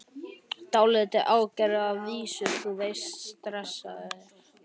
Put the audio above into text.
Dálítið ágengir að vísu, þú veist, stressaðir.